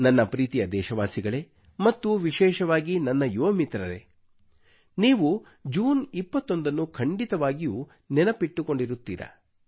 ನನ್ನ ಪ್ರೀತಿಯ ದೇಶವಾಸಿಗಳೇ ಮತ್ತು ವಿಶೇಷವಾಗಿ ನನ್ನ ಯುವ ಮಿತ್ರರೇ ನೀವು ಜೂನ್ 21 ನ್ನು ಖಂಡಿತವಾಗಿಯೂ ನೆನಪಿಟ್ಟುಕೊಂಡಿರುತ್ತೀರಾ